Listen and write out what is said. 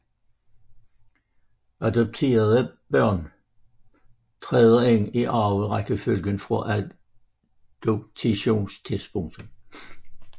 Adopterede børn træder ind i arverækkefølgen fra adoptionstidspunktet